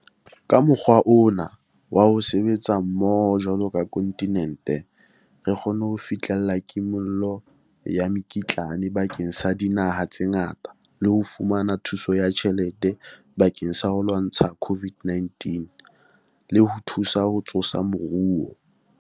Ka mokgwa ona wa ho sebetsa mmoho jwalo ka kontinente, re kgonne ho fihlella kimollo ya mekitlane bakeng sa dinaha tse ngata le ho fumana thuso ya tjhelete bakeng sa ho lwantsha COVID-19 le ho thusa ho tsosa moruo.